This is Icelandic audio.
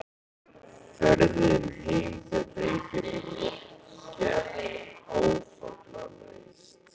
Ferðin heim til Reykjavíkur gekk áfallalaust.